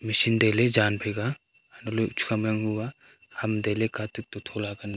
machine tailey jan phai ka a antoh ley chukha ma yang hu ba ham tailey katuk tuk to thola panu